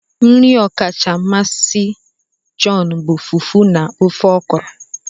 Nri ọkacha mmasị John bụ Fufu na ofe Okro